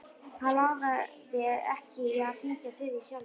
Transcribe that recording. Hann lagði ekki í að hringja til þín sjálfur.